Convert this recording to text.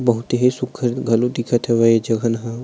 बहुत ही सुघ्घर घलो दिखत हवे जगह ह--